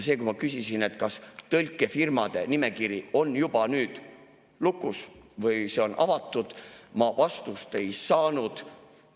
Kui ma küsisin, kas tõlkefirmade nimekiri on juba nüüd lukus või see on avatud, siis ma vastust ei saanud.